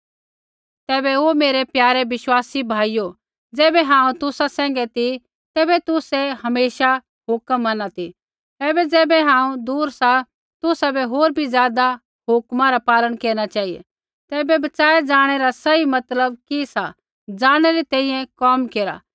तैबै ओ मेरै प्यारे विश्वासी भाइयो ज़ैबै हांऊँ तुसा सैंघै ती तैबै तुसै हमेशा हुक्म मैनू ती ऐबै ज़ैबै हांऊँ दूर सा तुसाबै होर बी ज़ादा हुक्मा रा पालन केरना चेहिऐ तैबै बच़ाऐ ज़ाणै रा सही मतलब कि सा ज़ाणनै री तैंईंयैं कोम केरा